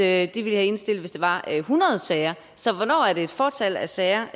at de ville indstille hvis der var hundrede sager så hvornår er det et fåtal af sager